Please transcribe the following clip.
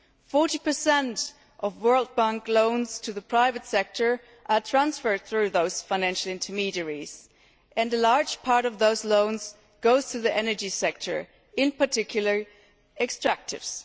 40 of World Bank loans to the private sector are transferred through those financial intermediaries and a large part of those loans goes to the energy sector, in particular, extractives.